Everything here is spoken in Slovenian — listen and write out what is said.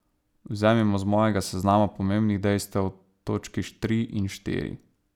Vzemimo z mojega seznama pomembnih dejstev točki tri in štiri.